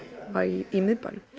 í miðbænum